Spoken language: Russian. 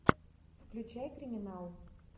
включай криминал